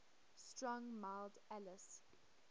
strong mild ales